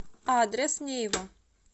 адрес нейва